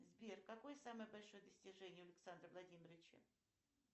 сбер какое самое большое достижение а александра владимировича